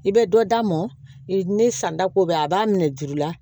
I bɛ dɔ d'a mɔn ne san ta ko bɛ a b'a minɛ juru la